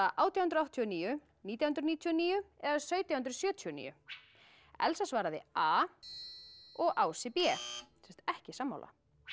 átján hundruð áttatíu og níu nítján hundruð níutíu og níu eða sautján hundruð sjötíu og níu Elsa svaraði a og Ási b sem sagt ekki sammála